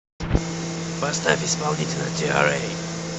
поставь исполнителя тиа рэй